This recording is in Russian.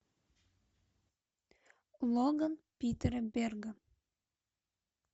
логан питера берга